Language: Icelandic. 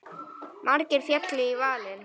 Margir féllu í valinn.